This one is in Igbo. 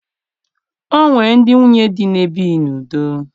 O nwere ndị nwunye di na-ebighi n'udo